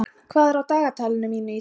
Fregn, hvað er á dagatalinu mínu í dag?